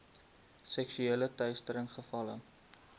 seksuele teistering gevalle